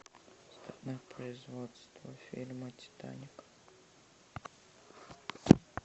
страна производства фильма титаник